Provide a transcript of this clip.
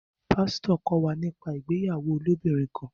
Pasito kọ wá nípa ìgbéyàwó ilobirin kán